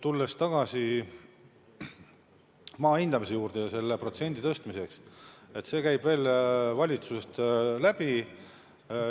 Tulles tagasi maa hindamise ja selle määra tõstmise juurde: see käib veel valitsusest läbi.